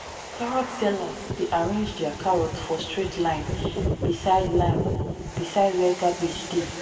carrot sellers dey arrange their carrots for straight line beside line beside where cabbage dey.